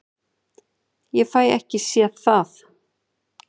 Ég fæ ekki séð það.